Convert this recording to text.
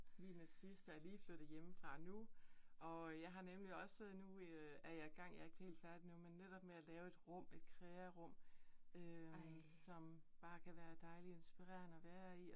Mine sidste er lige flyttet hjemmefra nu, og jeg har nemlig også nu øh er jeg i gang, jeg er ikke helt færdig endnu, men netop med med at lave et rum, et krearum øh, som bare kan være dejligt inspirerende at være i